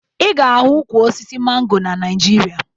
Ị ga-ahụ ukwu osisi mango na Naịjirịa